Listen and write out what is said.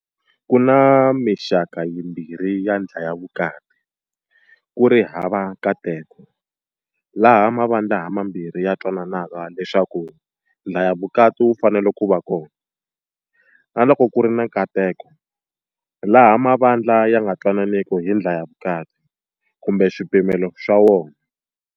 Ku na mixaka yimbirhi ya ndlhayavukati- ku ri hava nkaneto, laha mavandla hamambirhi ya twananaka leswaku ndlhayavukati wu fanele ku va kona, na loko ku ri na nkaneto, laha mavandla ya nga twananiki hi ndlhayavukati kumbe swipimelo swa wona.